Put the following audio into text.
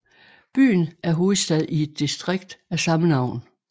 Byen er hovedstad i et distrikt af samme navn